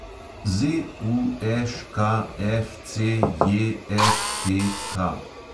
ZUŠKFCJFTK